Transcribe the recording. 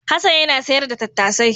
Hassan yana sayar da tattasai.